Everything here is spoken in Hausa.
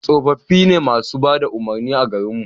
tsofaffi ne masu bada umarni a garin mu